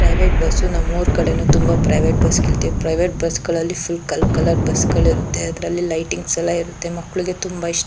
private bus ನಮ್ಮೂರು ಕಡೆನೂ ತುಂಬಾ ಪ್ರೈವೇಟ್ ಬಸ್ ಗಳಿವೆ ಪ್ರೈವೇಟ್ ಬಸ್ ಗಳಲ್ಲಿ ಫುಲ್ ಕಲ್ ಕಲರ್ ಬಸ್ ಗಳಿರುತ್ತೆ ಅದ್ರಲ್ಲಿ ಲೈಟಿಂಗ್ಸ್ ಎಲ್ಲ ಇರುತ್ತೆ ಮಕ್ಳುಗೆ ತುಂಬಾ ಇಷ್ --